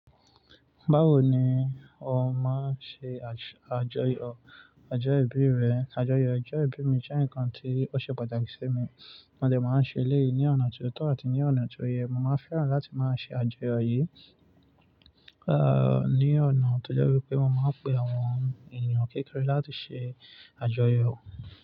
Báwo ni o máa ṣe àjọyọ̀ ọjọ́ ìbí rẹ? Àjọyọ̀ ọjọ́ ìbí mi jẹ́ ǹkan tí ó ṣe pàtàkì sí mi, mo dẹ̀ máa ń ṣe eléyì ní ọ̀nà tó tọ́ àti ní ọ̀nà tó yẹ. Mo máa fẹ́ràn láti máa ṣe àjọyọ̀ yìí, ah, ní ọ̀nà tó jẹ́ wípé mo máa pe àwọn ènìyàn kékeré láti ṣe àjọyọ̀.